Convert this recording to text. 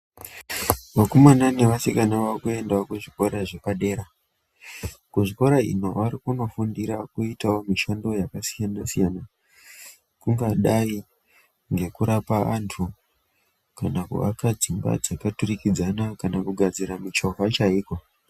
Vakomana nevasikana vakuyendawo kuzvikora zvepadera. kuzvikora ino varikunofundira kuitawo mishando yakasiyana siyana. Kungadai ngekurapa vantu, kana kuvaka dzimba dzakaturikidzana, kana kugadzira michova chayiko.